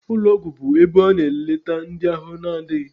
Ụlọgwụ bụ ebe a na-eleta ndị ahụ adịghị.